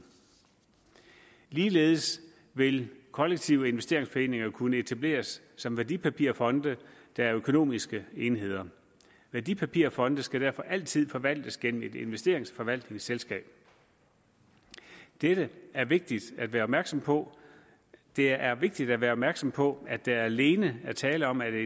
ligeledes vil kollektive investeringsforeninger kunne etableres som værdipapirfonde der er økonomiske enheder værdipapirfonde skal derfor altid forvaltes gennem et investeringsforvaltningsselskab dette er vigtigt at være opmærksom på det er vigtigt at være opmærksom på at der alene er tale om at